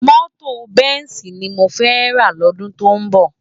Mòtó bensi ni mó fè rs lòdún tó nbò